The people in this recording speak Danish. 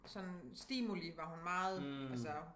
Sådan stimuli var hun meget altså